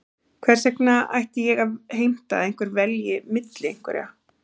Hvers vegna ætti ég að heimta að einhver velji milli einhverra?